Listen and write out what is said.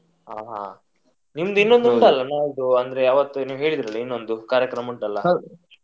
ಹಾ ಹಾ ನಿಮ್ದು ಇನ್ನೊಂದು ಉಂಟಲ್ಲ ನಾಳ್ದು ಅಂದ್ರೆ ಅವತ್ತು ನೀವ್ ಹೇಳಿದ್ರಲ್ಲ ಇನ್ನೊಂದು ಕಾರ್ಯಕ್ರಮ ಉಂಟಲ್ಲ.